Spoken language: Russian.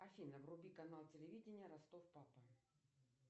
афина вруби канал телевидения ростов папа